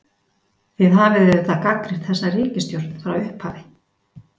Þið hafið auðvitað gagnrýnt þessa ríkisstjórn frá upphafi?